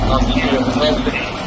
Dayanın, dayan, dayan.